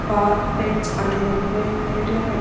spa pets అనేది ఎక్కువే highlight గా పెట్టే--